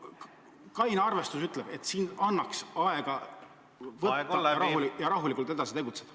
Kaine mõistus ütleb, et siin annaks aega maha võtta ja rahulikult edasi tegutseda.